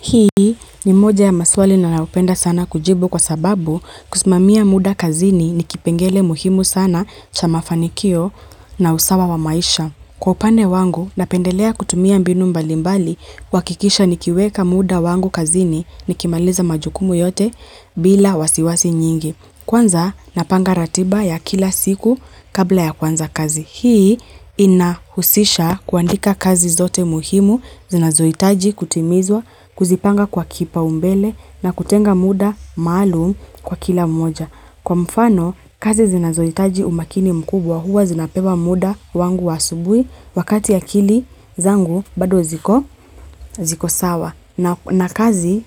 Hii ni moja ya maswali na ninayopenda sana kujibu kwa sababu kusimamia muda kazini ni kipengele muhimu sana cha mafanikio na usawa wa maisha. Kwa upande wangu, napendelea kutumia mbinu mbalimbali kuhakikisha nikiweka muda wangu kazini nikimaliza majukumu yote bila wasiwasi nyingi. Kwanza napanga ratiba ya kila siku kabla ya kuanza kazi. Hii inahusisha kuandika kazi zote muhimu zinazohitaji kutimizwa kuzipanga kwa kipaumbele na kutenga muda maalum kwa kila mmoja. Kwa mfano kazi zinazohitaji umakini mkubwa huwa zinapewa muda wangu wa asubuhi wakati akili zangu bado ziko sawa. Na kazi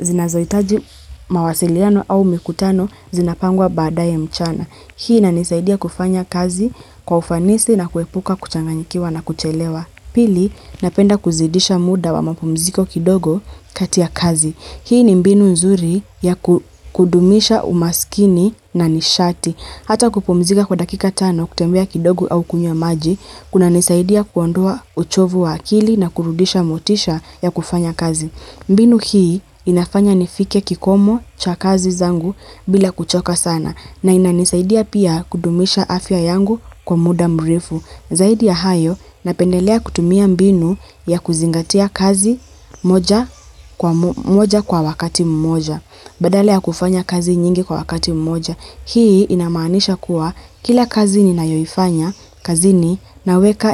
zinazohitaji mawasiliano au mikutano zinapangwa baadaye mchana. Hii inanisaidia kufanya kazi kwa ufanisi na kuepuka kuchanganyikiwa na kuchelewa. Pili, napenda kuzidisha muda wa mapumziko kidogo kati ya kazi. Hii ni mbinu nzuri ya kudumisha umaskini na nishati. Hata kupumzika kwa dakika tano, kutembea kidogo au kunywa maji. Kuna nisaidia kuondoa uchovu wa akili na kurudisha motisha ya kufanya kazi. Mbinu hii inafanya nifike kikomo cha kazi zangu bila kuchoka sana na inanisaidia pia kudumisha afya yangu kwa muda mrefu. Zaidi ya hayo, napendelea kutumia mbinu ya kuzingatia kazi moja kwa wakati mmoja, badala ya kufanya kazi nyingi kwa wakati mmoja. Hii inamaanisha kuwa kila kazi ninayoifanya kazini,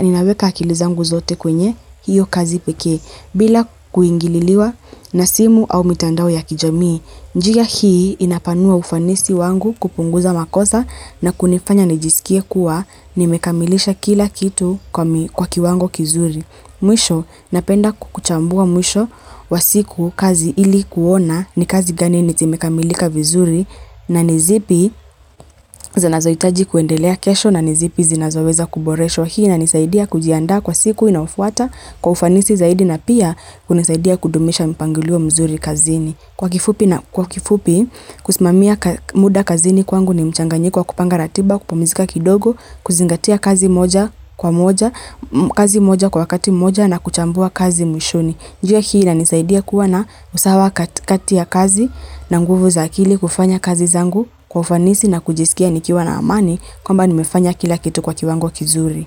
ninaweka akili zangu zote kwenye hiyo kazi pekee, bila kuingililiwa na simu au mitandao ya kijamii. Njia hii inapanua ufanisi wangu, kupunguza makosa na kunifanya nijisikie kuwa nimekamilisha kila kitu kwa kiwango kizuri. Mwisho napenda kuchambua mwisho wa siku kazi, ili kuona ni kazi gani zimekamilika vizuri na ni zipi zinanazohitaji kuendelea kesho na ni zipi zinazoweza kuboreshwa. Hii inanisaidia kujiandaa kwa siku inayofuata kwa ufanisi zaidi na pia kunisaidia kudumisha mpangilio mzuri kazini. Kwa kifupi na kwa kifupi, kusimamia muda kazini kwangu ni mchanganyiko wa kupanga ratiba, kupumizika kidogo, kuzingatia kazi moja kwa moja, kazi moja kwa wakati moja na kuchambua kazi mwishoni. Njia hii inanisaidia kuwa na usawa katikati ya kazi na nguvu za akili kufanya kazi zangu kwa ufanisi na kujisikia nikiwa na amani kwamba nimefanya kila kitu kwa kiwango kizuri.